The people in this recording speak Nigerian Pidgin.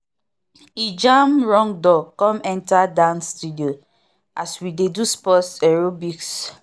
e jam wrong door come enter dance studio as we dey do sports aerobics